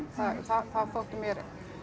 það þótti mér